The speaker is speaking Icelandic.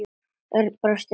Örn brosti breitt.